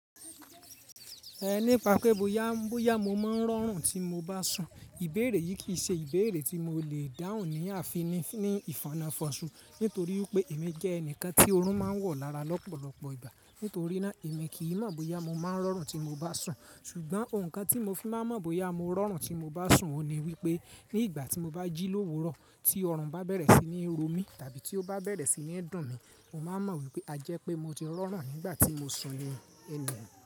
Ẹ nípa pé bóyá, bóyá mo máa ń rọrùn tí mo bá sùn, ìbéèrè yìí kì í ṣe ìbéèrè tí mo lè dáhùn ní àfinní ní ìfanafonṣù, nítorí pé èmi jẹ́ ẹnìkan tí oorun máa ń wọ̀ lára lọ́pọ̀lọpọ̀ ìgbà. Nítorí náà, èmi kì í mọ̀ bóyá mo máa ń rọrùn tí mo bá sùn, ṣùgbọ́n ǹkan tí mo fi máa mọ̀ bóyá mo rọrùn tí mo bá sùn ni wípé ní ìgbà tí mo bá jí lówurọ tí ọrùn bá bẹ̀rẹ̀ sí ní ro mí, tàbí tí ó bá bẹ̀rẹ̀ sí ní dùn mí, mo máa mọ̀ wípé a jẹ́ pé mo ti rọrùn nígbà tí mo sùn ní ẹnìyàn.